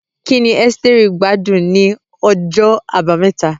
Kí ni Esteri gbádùn ní ọjọ́ Àbámẹ́ta?